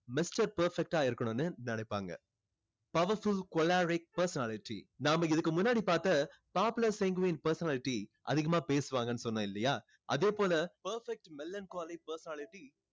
mister perfect ஆ இருக்கணும்னு நினைப்பாங்க. powerful choleric personality நாம் இதுக்கு முன்னாடி பார்த்த popular sanguine personality அதிகமா பேசுவாங்கன்னு சொன்னேன் இல்லையா அதே போல perfect melancholy personality